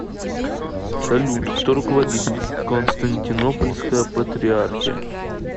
салют кто руководитель константинопольская патриархия